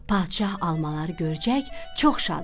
Padşah almaları görçək çox şad oldu.